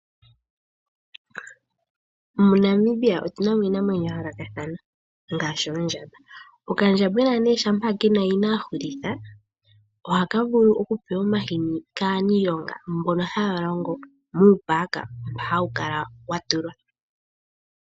Mo Namibia otu namo iinamwenyo ya yoolokathana ngaashi ondjamba, oka ndjambwena nee shampa kena yina ahulitha oha ka vulu oku pewa omahini kaaniilonga mbono haalongo muu paaka wa yoolokathana .